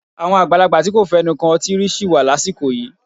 Àwọn àgbàlagbà tí kò fẹnu kan ọtí rí sì wà lásìkò yìí.